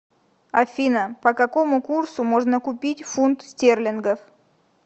афина по какому курсу можно купить фунт стерлингов